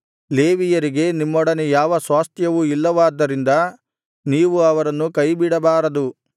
ಲೇವಿಯರಿಗೆ ನಿಮ್ಮೊಡನೆ ಯಾವ ಸ್ವಾಸ್ತ್ಯವೂ ಇಲ್ಲವಾದ್ದರಿಂದ ನೀವು ಅವರನ್ನು ಕೈಬಿಡಬಾರದು